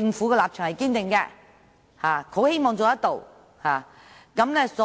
立場是堅定的，亦很希望能夠成事。